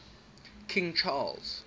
king charles